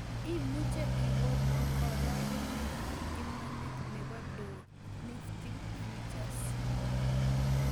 Imuche igonoo karogenetap imanit ne po dow nifty futures